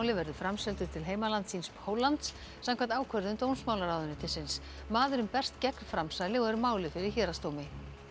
verður framseldur til heimalands síns Póllands samkvæmt ákvörðun dómsmálaráðuneytisins maðurinn berst gegn framsali og er málið fyrir héraðsdómi